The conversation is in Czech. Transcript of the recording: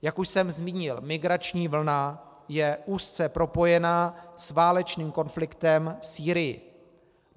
Jak už jsem zmínil, migrační vlna je úzce propojená s válečným konfliktem v Sýrii.